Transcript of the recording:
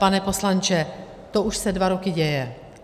Pane poslanče, to už se dva roky děje.